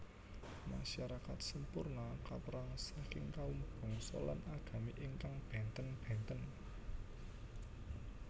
Masyarakat Semporna kaperang saking kaum bangsa lan agami ingkang benten benten